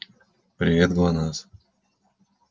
привет глонассс